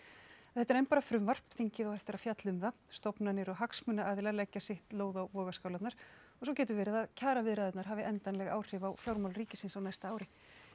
þetta er enn bara frumvarp þingið á eftir að fjalla um það stofnanir og hagsmunaaðilar leggja sitt lóð á vogarskálarnar og svo getur verið að kjaraviðræðurnar hafi endanleg áhrif á fjármál ríkisins á næsta ári